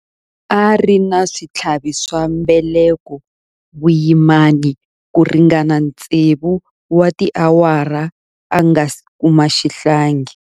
A ri na switlhavi swa mbeleko vuyimani ku ringana tsevu wa tiawara a nga si kuma xihlangi.